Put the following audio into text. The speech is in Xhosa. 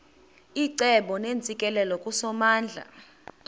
icebo neentsikelelo kusomandla